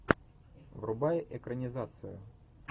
врубай экранизацию